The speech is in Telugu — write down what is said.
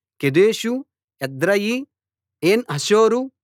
కెదెషు ఎద్రెయీ ఏన్‌హాసోరు